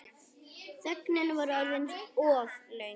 Þögnin var orðin of löng.